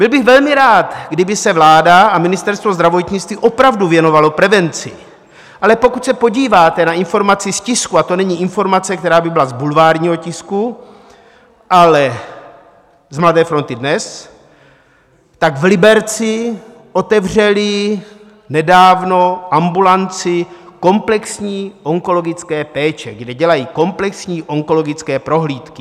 Byl bych velmi rád, kdyby se vláda a Ministerstvo zdravotnictví opravdu věnovalo prevenci, ale pokud se podíváte na informaci z tisku - a to není informace, která by byla z bulvárního tisku, ale z Mladé fronty Dnes - tak v Liberci otevřeli nedávno ambulanci komplexní onkologické péče, kde dělají komplexní onkologické prohlídky.